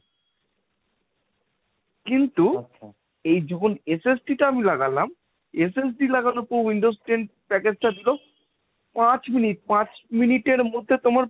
কিন্তু এই যখন SST টা আমি লাগালাম SLT লাগানোর পর windows ten package টা দিল পাঁচ মিনিট। পাঁচ মিনিটের মধ্যে তোমার,